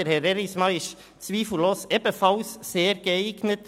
Herr Erismann ist zweifellos ebenfalls sehr geeignet.